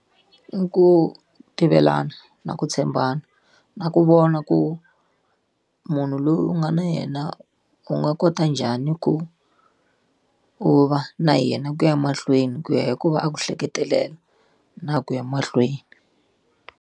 I ku tivelana na ku tshembana, na ku vona ku munhu loyi u nga na yena u nga kota njhani ku u va na yena ku ya mahlweni ku ya hi ku va a ku hleketelela na ku ya mahlweni.